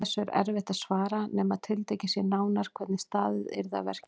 Þessu er erfitt að svara nema tiltekið sé nánar hvernig staðið yrði að verki.